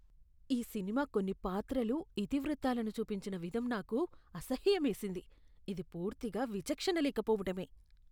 ఈ సినిమా కొన్ని పాత్రలు, ఇతివృత్తాలను చూపించిన విధం నాకు అసహ్యమేసింది. ఇది పూర్తిగా విచక్షణ లేకపోవటమే.